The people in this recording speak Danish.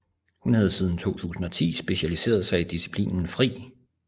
Hun havde siden 2010 specialiseret sig i disciplinen fri